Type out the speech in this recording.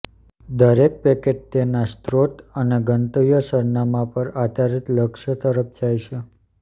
દરેક પેકેટ તેના સ્રોત અને ગંતવ્ય સરનામાં પર આધારિત લક્ષ્ય તરફ જાય છે